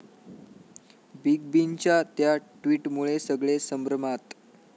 Big बींच्या 'त्या' ट्विटमुळे सगळे संभ्रमात!